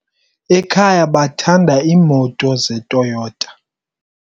Ekhaya bathanda iimoto zeToyota.